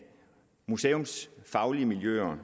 museumsfaglige miljøer